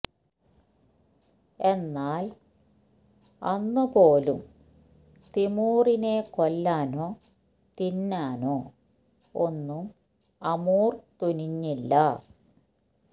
എന്നാൽ അന്ന് പോലും തിമൂറിനെ കൊല്ലാനോ തിന്നാനോ ഒന്നും അമൂർ തുനിഞ്ഞില്ല